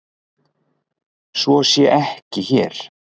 Svo sé ekki hér.